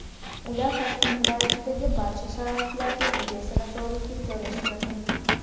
Ular Toshkent viloyatidagi barcha sharoitlarga ega sanatoriyga joylashtirildi.